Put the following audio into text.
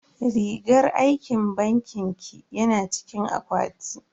Rigar aikin bankin ki yana cikin akwati.